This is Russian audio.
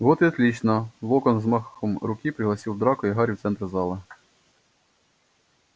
вот и отлично локонс взмахом руки пригласил драко и гарри в центр зала